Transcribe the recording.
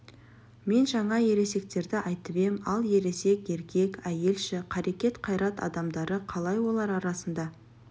мен жаңа ересектерді айтып ем ал ересек еркек әйел ше қарекет қайрат адамдары қалай олар арасында